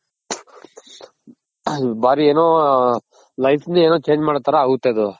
ಭಾರಿ ಏನೋ life ನೆ ಏನೋ change ಮಾಡೋ ತರ ಆಗುತ್ತೆ ಅದು.